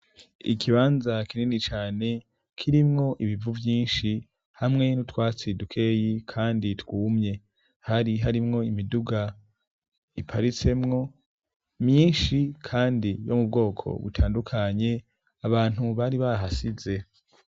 Ikibanza kinini cane kirimwo ibivu vyinshi hamwe n'utwatsi dukeyi kandi twumye, hari harimwo imiduga iparisemwo myinshi kandi yo mu bwoko butandukanye abantu bari bahasize.